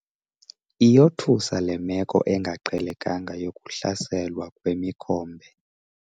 Iyothusa le meko engaqhelekanga yokuhlaselwa kwemikhombe.